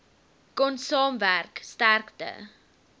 kon saamwerk sterkte